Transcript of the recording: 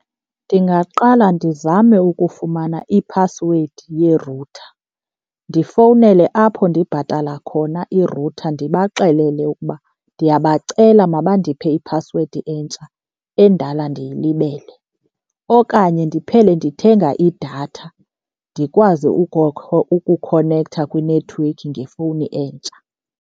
Ndingaqala ndizame ukufumana iphasiwedi ye-router, ndifowunele apho ndibhatala khona i-router ndibaxelele ukuba ndiyabacela mabandiphe iphasiwedi entsha endala ndiyilibele. Okanye ndiphele ndithenga idatha ndikwazi ukukhonektha kwinethiwekhi ngefowuni entsha.